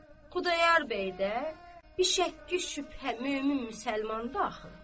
Xudayar bəy də bişəkk-şübhə mömin müsəlman da axı.